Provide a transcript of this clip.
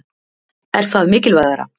Er það mikilvægara?